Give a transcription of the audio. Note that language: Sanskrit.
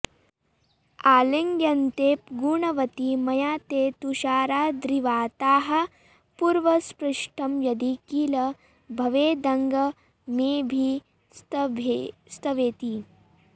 आलिङ्ग्यन्ते गुणवति मया ते तुषाराद्रिवाताः पूर्वस्पृष्टं यदि किल भवेदङ्गमेभिस्तवेति